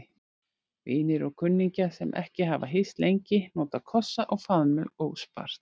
Vinir og kunningjar, sem ekki hafa hist lengi, nota kossa og faðmlög óspart.